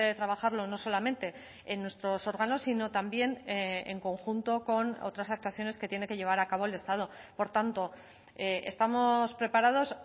trabajarlo no solamente en nuestros órganos sino también en conjunto con otras actuaciones que tiene que llevar a cabo el estado por tanto estamos preparados